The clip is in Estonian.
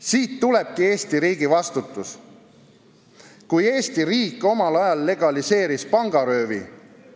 Siit tulebki Eesti riigi vastutus, kui Eesti riik omal ajal legaliseeris pangaröövi.